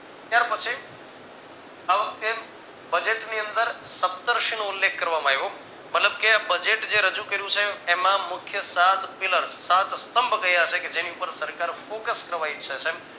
ત્યાર પછી આ વખતે budget ની અંદર સપ્તઋષિ નો ઉલ્લેખ કરવામાં આવ્યો મતલબ કે budget જે રજુ કર્યું છે એમાં મુખ્ય સાત pillar સાત સ્તંભ ક્યાં છે કે જેની ઉપર સરકાર focus કરવા ઈચ્છે છે